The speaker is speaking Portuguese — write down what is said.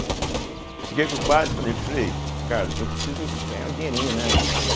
Cheguei para o padre e falei, falei, Carlos, eu preciso ganhar um dinheirinho, né?